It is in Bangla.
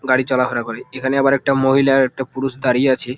গাড়ি চলা ফেরা করে এইখানে আবার একটা মহিলা আর একটা পুরুষ দাঁড়িয়ে আছে ।